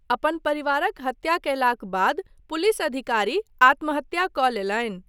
अपन परिवारक हत्या कयलाक बाद पुलिस अधिकारी आत्महत्या कऽ लेलनि।